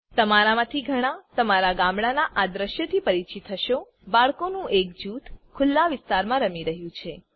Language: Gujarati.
તમારામાંથી ઘણાં તમારા ગામડામાંના આ દૃશ્યથી પરિચિત હશો બાળકોનું એક જૂથ ખુલ્લા વિસ્તારમાં રમી રહ્યું છે